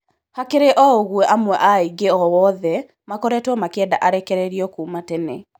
Hakĩrĩ o ũgũo amwe a aĩgi a watho makoretwo makĩenda arekererio kuma tene.